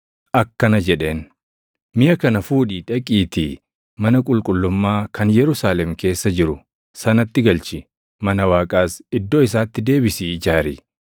akkana jedheen; ‘Miʼa kana fuudhii dhaqiitii mana qulqullummaa kan Yerusaalem keessa jiru sanatti galchi. Mana Waaqaas iddoo isaatti deebisii ijaari.’